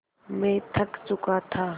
मैं थक चुका था